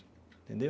Entendeu?